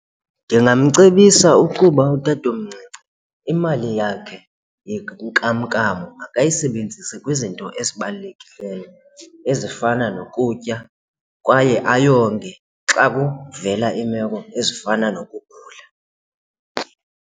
Ndingamcebisa ukuba utatomncinci imali yakhe yenkamnkam makayisebenzise kwizinto ezibalulekileyo ezifana nokutya kwaye ayonge xa kuvela iimeko ezifana nokugula.